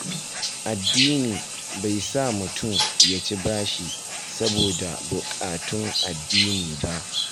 Addini bai sa mutum ya ci bashi saboda buƙatun addini ba.